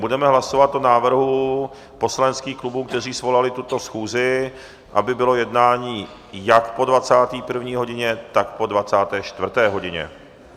Budeme hlasovat o návrhu poslaneckých klubů, které svolaly tuto schůzi, aby bylo jednání jak po 21. hodině, tak po 24. hodině.